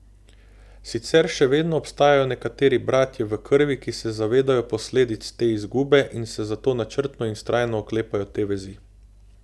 Sicer še vedno obstajajo nekateri bratje v krvi, ki se zavedajo posledic te izgube in se zato načrtno in vztrajno oklepajo te vezi.